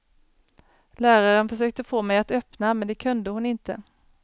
Läraren försökte få mig att öppna men det kunde hon inte.